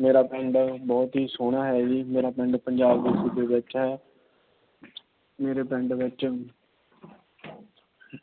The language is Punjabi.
ਮੇਰਾ ਪਿੰਡ ਬਹੁਤ ਈ ਸੋਹਣਾ ਏ ਜੀ। ਮੇਰਾ ਪਿੰਡ ਪੰਜਾਬ ਦੇ ਸੂਬੇ ਵਿੱਚ ਹੈ। ਮੇਰੇ ਪਿੰਡ ਵਿਚ